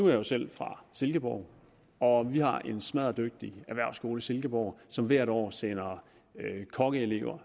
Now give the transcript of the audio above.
jeg jo selv er fra silkeborg og vi har en smadderdygtig erhvervsskole i silkeborg som hvert år sender kokkeelever